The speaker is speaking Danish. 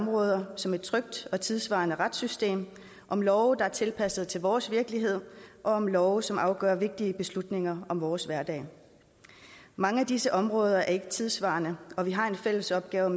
områder som et trygt og tidssvarende retssystem om love der er tilpasset til vores virkelighed og om love som afgør vigtige beslutninger om vores hverdag mange af disse områder er ikke tidssvarende og vi har en fælles opgave